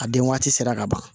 A den waati sera ka ban